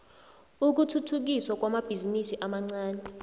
ukuthuthukiswa kwamabhizinisi amancani